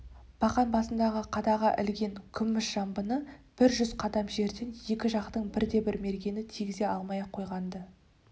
бақан басындағы қадаға ілген күміс жамбыны бір жүз қадам жерден екі жақтың бірде-бір мергені тигізе алмай-ақ қойған-ды